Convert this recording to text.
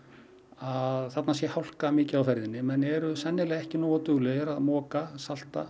að þarna sé hálka mikið á ferðinni menn eru sennilega ekki nógu duglegir að moka að salta